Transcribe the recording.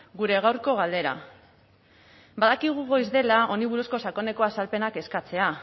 gure gaurko galdera badakigu goiz dela honi buruzko sakoneko azalpenak eskatzea